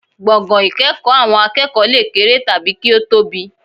Gbọ̀ngàn ìkẹ́kọ̀ọ́ àwọn akẹ́kọ̀ọ́ lè kéré tàbí kí ó tóbi